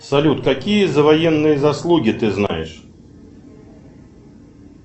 салют какие за военные заслуги ты знаешь